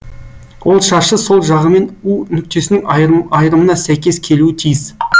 ол шаршы сол жағымен у нүктесінің айырымына сәйкес келуі тиіс